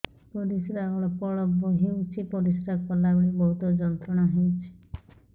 ପରିଶ୍ରା ଅଳ୍ପ ଅଳ୍ପ ହେଉଛି ପରିଶ୍ରା କଲା ବେଳେ ବହୁତ ଯନ୍ତ୍ରଣା ହେଉଛି